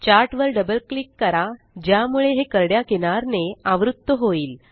chart वर double click करा ज्यामुळे हे करड्या किनार ने आवृत्त होईल